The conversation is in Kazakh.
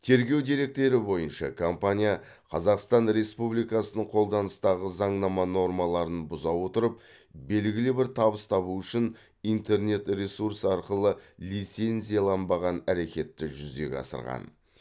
тергеу деректері бойынша компания қазақстан республикасының қолданыстағы заңнама нормаларын бұза отырып белгілі бір табыс табу үшін интернет ресурс арқылы лицензияланбаған әрекетті жүзеге асырған